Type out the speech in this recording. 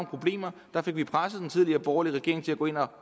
problemer fik vi presset den tidligere borgerlige regering til at gå ind og